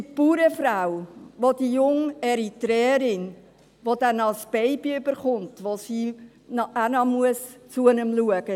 Die Bauersfrau, welche die junge Eritreerin betreut, die dann auch noch ein Baby bekommt, zu dem die Bäuerin auch noch schauen muss;